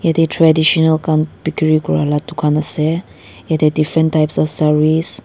yatae traditional khan bikiri kurala dukan ase yatae different types of sarees.